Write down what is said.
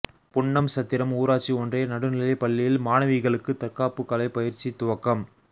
புன்னம் சத்திரம் ஊராட்சி ஒன்றிய நடுநிலை பள்ளியில் மாணவிகளுக்கு தற்காப்பு கலை பயிற்சி துவக்கம்